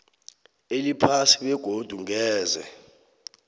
eliphasi begodu ngeze